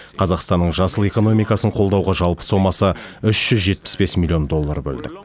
қазақстанның жасыл экономикасын қолдауға жалпы сомасы үш жүз жетпіс бес миллион доллар бөлдік